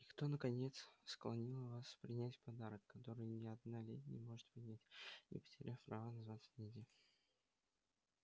и кто наконец склонил вас принять подарок который ни одна леди не может принять не потеряв права называться леди